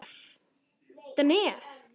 Þetta nef!